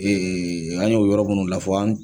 Ee an y'o yɔrɔ minnu lafɔ an